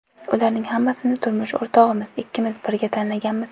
Ularning hammasini turmush o‘rtog‘im ikkimiz birga tanlaganmiz.